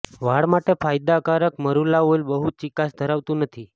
વાળ માટે ફાયદાકારક મરુલા ઓઇલ બહુ ચીકાશ ધરાવતું નથી